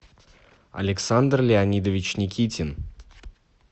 александр леонидович никитин